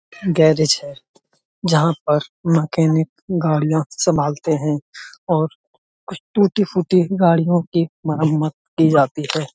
Garage है जहाँ पर मकैनिक गाड़ियां संभालते हैं और कुछ टूटी फुटी गाड़ियों की मरम्मत की जाती है।